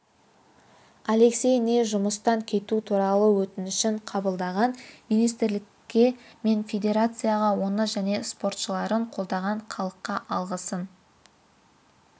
алексей ни жұмыстан кету туралы өтінішін қабылдаған министрлікке мен федерацияға оны және спортшыларын қолдаған халыққа алғысын